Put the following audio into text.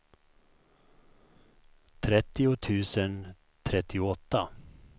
trettio tusen trettioåtta